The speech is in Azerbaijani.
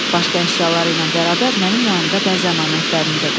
Başqa əşyaları ilə bərabər mənim yanımda bəz əmanətlərini də qoydu.